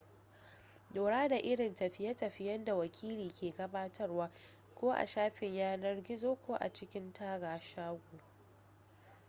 lura da irin tafiye-tafiyen da wakili ke gabatarwa ko a shafin yanar gizo ko a cikin taga shago